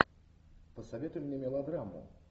посоветуй мне мелодраму